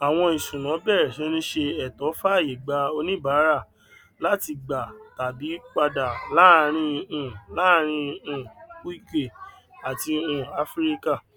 àwọn ìṣúnná bẹrẹ sí ń ṣe ètò fàyè gba oníbàárà láti gbà tàbí padà láàárín um láàárín um uk àti um áfíríkà